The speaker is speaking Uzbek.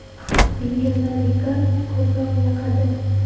Menga La liga ko‘proq yoqadi.